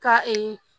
Ka